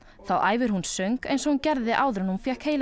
þá æfir hún söng eins og hún gerði áður en hún fékk